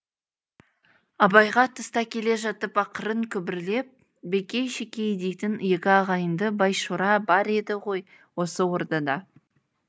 абайға тыста келе жатып ақырын күбірлеп бекей шекей дейтін екі ағайынды байшора бар еді ғой осы ордада